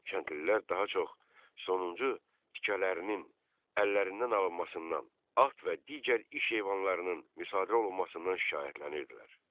Kəndlilər daha çox sonuncu tikələrinin əllərindən alınmasından, at və digər iş heyvanlarının müsadirə olunmasından şikayətlənirdilər.